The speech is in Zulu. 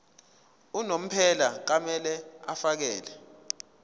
unomphela kumele afakele